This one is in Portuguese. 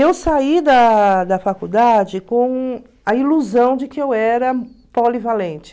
Eu saí da da faculdade com a ilusão de que eu era polivalente.